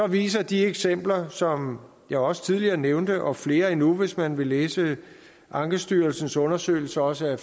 viser de eksempler som jeg også tidligere nævnte og flere endnu hvis man vil læse ankestyrelsens undersøgelser også af